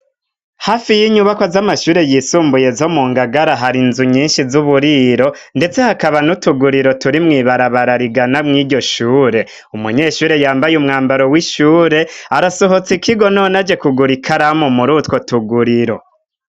Hafi y'inyubako z'amashure yisumbuye zo mu Ngagara hari inzu nyinshi z'uburiro ndetse hakaba n'utuguriro turi mwibarabara rigana mwiryo shure, umunyeshure yambaye umwambaro w'ishure arasohotse ikigo none aje kugura ikaramu murutwo tuguriro.